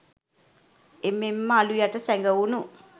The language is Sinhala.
එමෙන් ම අළු යට සැගවුණු